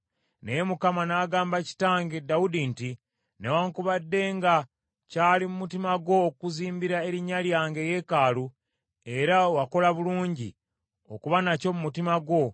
Naye Mukama n’agamba kitange Dawudi nti, ‘Newaakubadde nga kyali mu mutima gwo okuzimbira Erinnya lyange eyeekaalu, era wakola bulungi okuba nakyo mu mutima gwo,